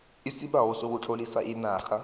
isibawo sokutlolisa inarha